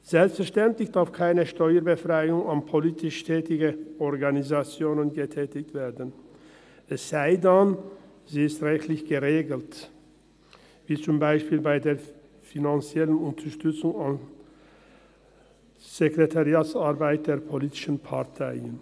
Selbstverständlich darf keine Steuerbefreiung an politisch tätige Organisationen gewährt werden, es sei denn, sie ist rechtlich geregelt, wie zum Beispiel die finanzielle Unterstützung der Sekretariatsarbeit der politischen Parteien.